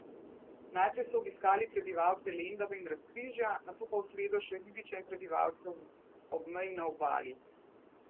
Najprej so obiskali prebivalce Lendave in Razkrižja, nato pa v sredo še ribiče in prebivalce ob meji na Obali.